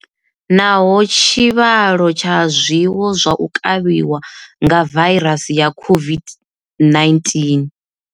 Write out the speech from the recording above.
Naho tshivhalo tsha zwiwo zwa u kavhiwa nga vairasi ya COVID-19.